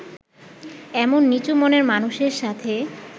এমন নিচু মনের মানুষের সাথে